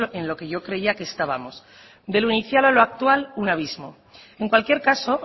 es en lo que yo creía que estábamos de lo inicial a lo actual un abismo en cualquier caso